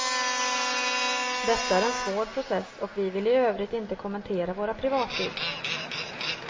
Detta är en svår process och vi vill i övrigt inte kommentera våra privatliv.